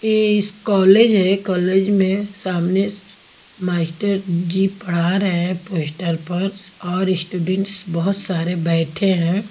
यह इस कॉलेज है कॉलेज में सामने मास्टर जी पढ़ा रहे हैं पोस्टर पर और स्टूडेंट्स बहुत सारे बैठे हैं।